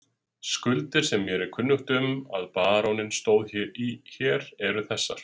Skuldir sem mér er kunnugt um að baróninn stóð í hér, eru þessar